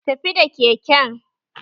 Tafi da keken!